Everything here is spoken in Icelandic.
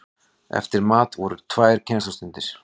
Eftir mat voru tvær kennslustundir.